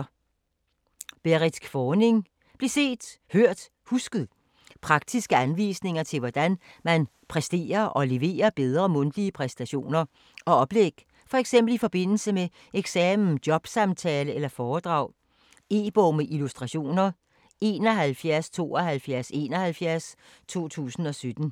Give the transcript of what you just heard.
Kvorning, Berrit: Bliv set, hørt, husket Praktiske anvisninger til hvordan man præsterer og leverer bedre mundtlige præsentationer og oplæg, f.eks. i forbindelse med eksamen, jobsamtale eller foredrag. E-bog med illustrationer 717271 2017.